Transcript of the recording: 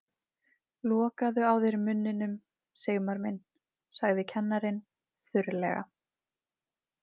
Lokaðu á þér munninum, Sigmar minn sagði kennarinn þurrlega.